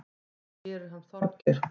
Það gerir hann Þorgeir.